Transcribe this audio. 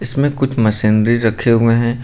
इसमें कुछ मशीनरी रखे हुए हैं।